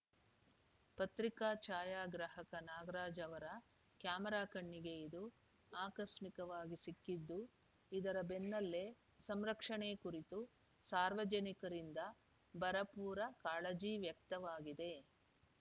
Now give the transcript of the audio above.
ಪತ್ರಿಕಾ ಛಾಯಾಗ್ರಾಹಕ ನಾಗರಾಜ್‌ ಅವರ ಕ್ಯಾಮರಾ ಕಣ್ಣಿಗೆ ಇದು ಆಕಸ್ಮಿಕವಾಗಿ ಸಿಕ್ಕಿದ್ದು ಇದರ ಬೆನ್ನಲ್ಲೇ ಸಂರಕ್ಷಣೆ ಕುರಿತು ಸಾರ್ವಜನಿಕರಿಂದ ಭರಪೂರ ಕಾಳಜಿ ವ್ಯಕ್ತವಾಗಿದೆ